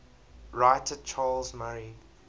writer charles murray